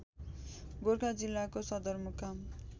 गोरखा जिल्लाको सदरमुकाम